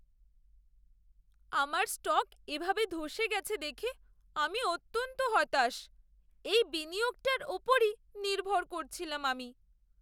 আমার স্টক এভাবে ধ্বসে গেছে দেখে আমি অত্যন্ত হতাশ। এই বিনিয়োগটার ওপরই নির্ভর করছিলাম আমি।